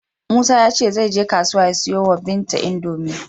Musa ya ce zai je kasuwa ya siyo wa Binta Indomi.